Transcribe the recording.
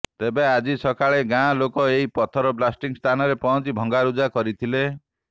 ତେବେ ଆଜି ସକାଳେ ଗାଁ ଲୋକେ ଏହି ପଥର ବ୍ଲାଷ୍ଟିଂ ସ୍ଥାନରେ ପହଞ୍ଚି ଭଙ୍ଗାରୁଜା କରିଥିଲେ